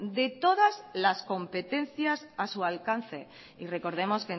de todas las competencias a su alcance y recordemos